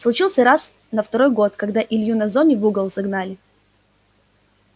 случился раз на второй год когда илью на зоне в угол загнали